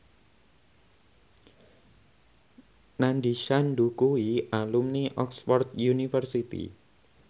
Nandish Sandhu kuwi alumni Oxford university